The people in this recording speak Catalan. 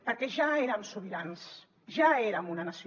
perquè ja érem sobirans ja érem una nació